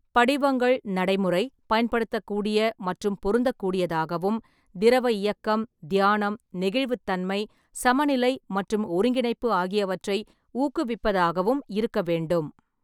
படிவங்கள் நடைமுறை, பயன்படுத்தக்கூடிய மற்றும் பொருந்தக்கூடியதாகவும், திரவ இயக்கம், தியானம், நெகிழ்வுத்தன்மை, சமநிலை மற்றும் ஒருங்கிணைப்பு ஆகியவற்றை ஊக்குவிப்பதாகவும் இருக்க வேண்டும்.